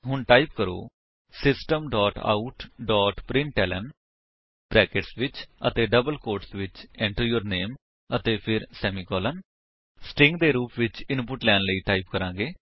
ਹੁਣ ਟਾਈਪ ਕਰੋ system dot out dot println brackets ਵਿੱਚ ਅਤੇ ਡਬਲ ਕੋਟਸ ਵਿੱਚ Enter ਯੂਰ ਨਾਮੇ ਅਤੇ ਫਿਰ ਸੈਮੀਕੋਲੋਨ ਸਟ੍ਰਿੰਗ ਦੇ ਰੂਪ ਵਿੱਚ ਇਨਪੁਟ ਲੈਣ ਲਈ ਟਾਈਪ ਕਰਾਂਗੇ